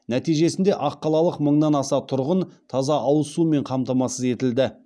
нәтижесінде аққалалық мыңнан аса тұрғын таза ауыз сумен қамтамасыз етілді